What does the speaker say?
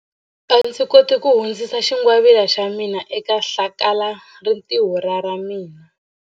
A ndzi koti ku hundzisa xingwavila xa mina eka hlakalarintiho ra ra mina.